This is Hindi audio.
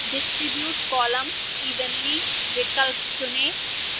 distribute columns evenly विकल्प चुनें